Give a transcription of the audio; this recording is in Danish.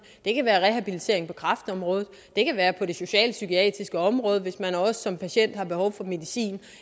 det kan være rehabilitering på kræftområdet det kan være på socialpsykiatriske område hvis man som patient også har behov for medicin